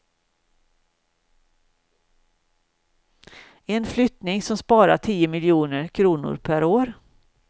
En flyttning som sparar tio miljoner kronor per år.